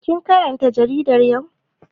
Kin karanta jarida yau?